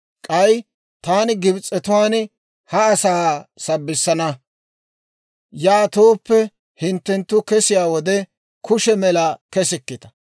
«K'ay taani Gibs'etuwaan ha asaa sabbissana; yaatooppe hinttenttu kesiyaa wode kushe mela kesikita.